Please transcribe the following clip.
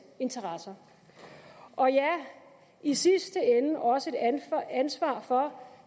interesser og ja i sidste ende også et ansvar for